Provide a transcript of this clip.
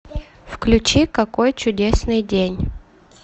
включи какой чудесный день